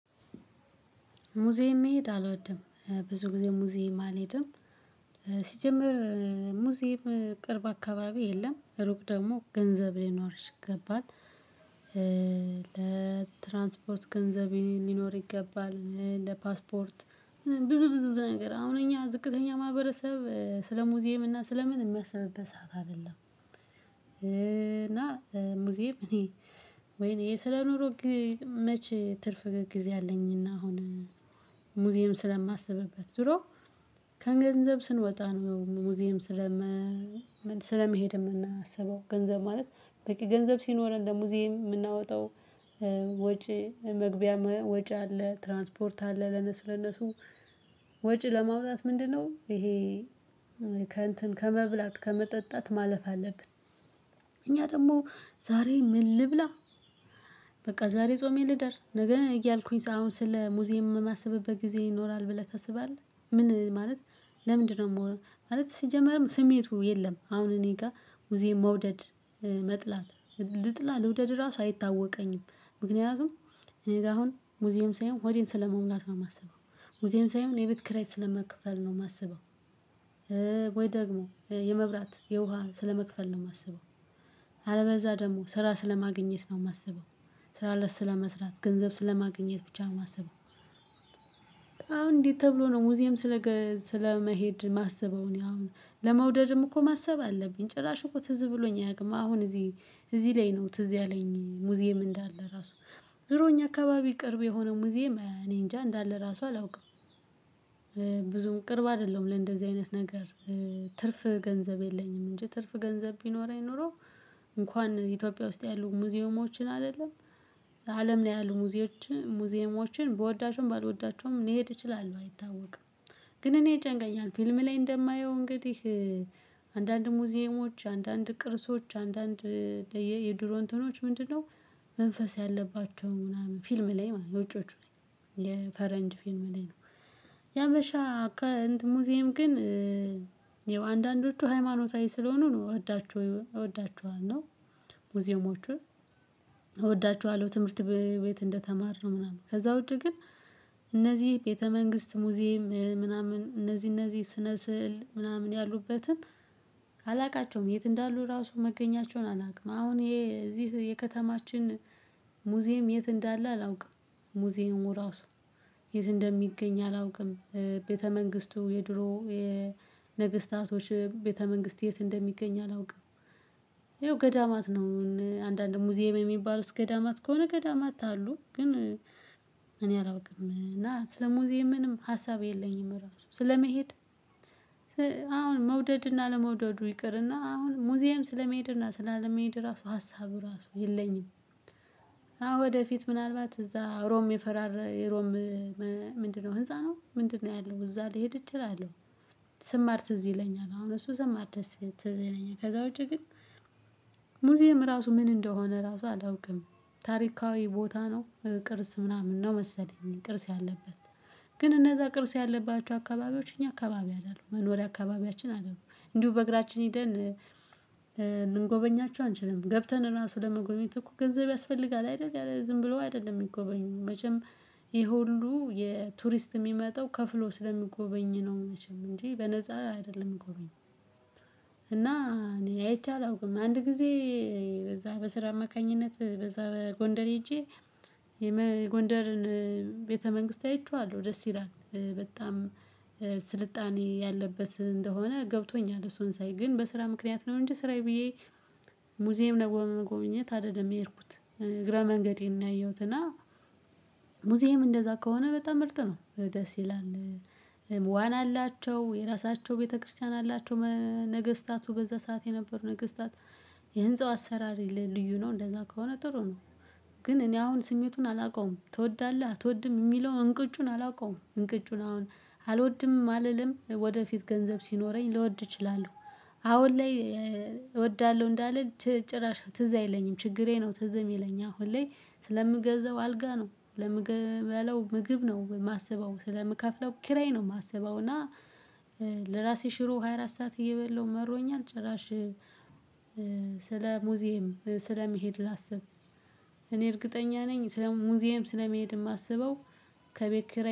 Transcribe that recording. ሙዚየም መሄድ አልወድም ብዙ ጊዜ ሙዚየም አልሄድም። ሲጀመር ሙዚየም ቅርብ አካባቢ የለም ሩቅ ደግሞ ገንዘብ ሊኖርሽ ይገባል ለትራንስፖርት ገንዘብ ሊኖር ይገባል። ለፓስፖርት ብዙ ብዙ ነገር አሁን እኛ ዝቅተኛ ማህበረሰብ ስለ ሙዚየም እና ስለ ምን የሚያስበብበት ሰዓት አይደለም። እና ሙዚየም እኔ ወይኔ የስለኖርኩ መቼ ትርፍ ጊዜ አለኝና አሁን ሙዚየም ስለማስብበት ዞሮ ከገንዘብ ስንወጣ ነው። ሙዚየም ስለመ ስለመሄድ የምናስበው ገንዘብ ማለት በቂ ገንዘብ ሲኖረን ለሙዚየም የምናወጣው። መግቢያ ወጪ አለ ትራንስፖርት አለ ለነሱ ለነሱ ወጪ ለማውጣት ምንድነው ይሄ? ከእንትን ከመብላት ከመጠጣት ማለፍ አለብን። እኛ ደግሞ ዛሬ ምን ልብላ በቃ ዛሬ ጾሜ ልደር ነገ እያልኩኝ አሁን ስለ ሙዚየም የማስብበት ጊዜ ይኖራል ብለህ ታስባለህ? ምን ማለት? ለምንድነው ማለት ሲጀመርም ስሜቱ የለም። አሁን እኔ ጋር ጊዜ መውደድ መጥላት ልጥላ ልውደድ ራሱ አይታወቀኝም። ምክንያቱም እኔ ጋር አሁን ሙዚየም ሳይሆን ሆዴን ስለመሙላት ነው የማስበው። ሙዚየም ሳይሆን የቤት ክራይ ስለመክፈል ነው የማስበው። ወይ ደግሞ የመብራት የውሃ ስለመክፈል ነው የማስበው። አለበለዛ በዛ ደግሞ ስራ ስለማግኘት ነው የማስበው። ስራ ለስ ስለመስራት ገንዘብ ስለማግኘት ብቻ ነው የማስበው። አሁን እንዴት ተብሎ ነው ሙዚየም ስለ ስለመሄድ ማሰብ አለብኝ። አሁን ለመውደድም እኮ ማሰብ አለብኝ። ጭራሽ እኮ ትዝ ብሎኝ አያውቅም። አሁን እዚህ እዚህ ላይ ነው ትዝ ያለኝ ሙዚየም እንዳለ ራሱ። ዙሮ እኛ አካባቢ ቅርብ የሆነው ጊዜ እኔ እንጃ እንዳለ ራሱ አላውቅም። ብዙም ቅርብ አይደለሁም ለእንደዚህ አይነት ነገር። ትርፍ ገንዘብ የለኝም። እንጂ ትርፍ ገንዘብ ቢኖረኝኖሮ እንኳን ኢትዮጵያ ውስጥ ያሉ ሙዚየሞችን አይደለም ለአለም ላይ ያሉ ሙዚየሞችን ሙዚየሞችን ብወዳቸውም ባልወዳቸውም ሊሄድ ይችላሉ አይታወቅም። ግን እኔ ይጨንቃኛል ፊልም ላይ እንደማየው እንግዲህ። አንዳንድ ሙዚየሞች አንዳንድ ቅርሶች አንዳንድ የድሮ እንትኖች ምንድነው? መንፈስ ያለባቸው ምናምን ፊልም ላይ ውጮቹ ላይ የፈረንጅ ፊልም ላይ ነው። ያበሻ አካንት ሙዚየም ግን የአንዳንዶቹ ሃይማኖታዊ ስለሆኑ ነው እወዳችሁ እወዳችኋለሁ ነው። ሙዚየሞችን እወዳችኋለሁ ትምህርት ቤት እንደተማርነው ምናምን ከዛ ውጪ ግን። እነዚህ ቤተ መንግስት ሙዚየም ምናምን እነዚህ እነዚህ ስነ ስዕል ምናምን ያሉበትን። የት እንዳሉ ራሱ መገኛቸውን አላውቅም። አሁን ይሄ እዚህ የከተማችን ሙዚየም የት እንዳለ አላውቅም። ሙዚየሙ ራሱ የት እንደሚገኝ አላውቅም። ቤተ መንግስቱ የድሮ የንግስታቶች ቤተ መንግስት የት እንደሚገኝ አላውቅም። ይኸው ገዳማት ነው አንዳንድ ሙዚየም የሚባሉት ገዳማት ከሆነ ገዳማት አሉ ግን። እኔ አላውቅም እና ስለ ሙዚየም ምንም ሀሳብ የለኝም ራሱ ስለመሄድ። አሁን መውደድ እና አለመውደዱ ይቅርና አሁን ሙዚየም ስለመሄድ እና ስላለመሄድ ራሱ ሀሳቡ ራሱ የለኝም። አዎ ወደፊት ምናልባት እዛ ሮም የፈራረ የሮም ምንድነው? ህንፃ ነው ምንድነው? ያለው እዛ ሊሄድ እችላለሁ። ስማር ትዝ ይለኛል አሁን እሱ ስማር ድረስ ትዝ ይለኛል ከዛ ውጪ ግን። ሙዚየም ራሱ ምን እንደሆነ ራሱ አላውቅም። ታሪካዊ ቦታ ነው። ቅርስ ምናምን ነው መሰለኝ ቅርስ። ግን እነዛ ቅርስ ያለባቸው አካባቢዎች እኛ አካባቢ አይደሉም መኖሪያ አካባቢያችን አይደሉም እንዲሁ በእግራችን ሄደን። ምንጎበኛቸው አንችልም ገብተን ራሱ ለመጎበኘት እኮ ገንዘብ ያስፈልጋል አይደል? ዝም ብሎ አይደለም የሚጎበኙ መቼም። ይሄ ሁሉ የቱሪስት የሚመጣው ከፍሎ ስለሚጎበኝ ነው። መቼም እንጂ በነፃ አይደለም ጎበኝ። እና እኔ አይቼ አላውቅም። አንድ ጊዜ እዛ በስራ አማካኝነት በዛ በጎንደር ሄጄ። የጎንደርን ቤተ መንግስት አይቼዋለሁ ደስ ይላል። በጣም ስልጣኔ ያለበት እንደሆነ ገብቶኛል። እሱን ሳይ ግን በስራ ምክንያት ነው እንጂ ስራዬ ብዬ። ሙዚየም ነው ለመጎብኘት አይደለም የሄድኩት እግረ መንገዴን ነው ያየሁት። እና የት እንዳሉ ራሱ መገኛቸውን አላውቅም አሁን ይሄ እዚህ የከተማችን ሙዚየም የት እንዳለ አላውቅም። ሙዚየሙ ራሱ የት እንደሚገኝ አላውቅም። ቤተ መንግስቱ የድሮ የንግስታቶች ቤተ መንግስት የት እንደሚገኝ አላውቅም። ይኸው ገዳማት ነው አንዳንድ ሙዚየም የሚባሉት ገዳማት ከሆነ ገዳማት አሉ። ግን እኔ አላውቅም። እና ስለ ሙዚየም ምንም ሀሳብ የለኝም። ራሱ ስለመሄድ አሁን መውደድ እና አለመውደዱ ይቅርና አሁን ሙዚየም ስለመሄድ እና ስላለመሄድ ራሱ ሀሳቡ ራሱ የለኝም። አዎ ወደፊት ምናልባት እዛ ሮም የፈራረ የሮም ምንድነው? ህንፃ ነው ምንድነው? ያለው እዛ ሊሄድ እችላለሁ። ስማር ትዝ ይለኛል አሁን እሱ ስማር ድረስ ትዝ ይለኛል። ከዛ ውጪ ግን ሙዚየም ራሱ ምን እንደሆነ ራሱ አላውቅም። ታሪካዊ ቦታ ነው ቅርስ ምናምን ነው መሰለኝ። ቅርስ ግን እነዛ ቅርስ ያለባቸው አካባቢዎች። እኛ አካባቢ አይደሉም መኖሪያ አካባቢያችን አይደሉም። እንዲሁ በእግራችን ሄደን